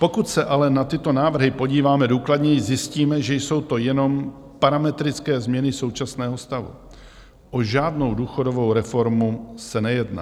Pokud se ale na tyto návrhy podíváme důkladněji, zjistíme, že jsou to jenom parametrické změny současného stavu, o žádnou důchodovou reformu se nejedná.